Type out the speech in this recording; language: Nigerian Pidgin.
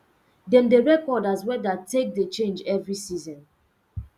dem dey record as weather take dey change every season